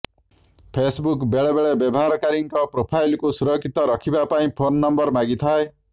Facebook ବେଳେ ବେଳେ ବ୍ୟବହାର କାରୀଙ୍କ ପ୍ରୋଫାଇଲକୁ ସୁରକ୍ଷିତ ରଖିବା ପାଇଁ ଫୋନ୍ ନମ୍ବର ମାଗିଥାଏ